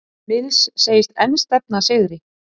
Mills segist enn stefna að sigri